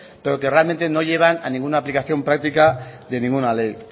pero que realmente no llevan a ninguna aplicación práctica de ninguna ley